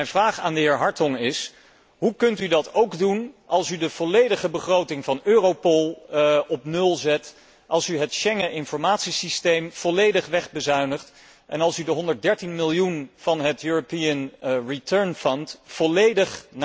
Mijn vraag aan de heer Hartong is hoe kunt u dat doen als u de volledige begroting van Europol op nul zet, als u het Schengen informatiesysteem volledig wegbezuinigt en als u de 113 miljoen van het volledig